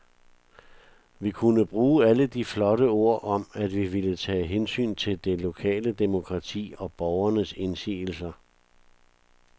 Vi kunne bruge alle de flotte ord om, at vi ville tage hensyn til det lokale demokrati og borgernes indsigelser.